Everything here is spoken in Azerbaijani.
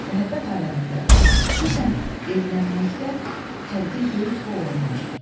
Məhəbbət aləmində xüsusən evlənməkdə təlqin böyük rol oynayır.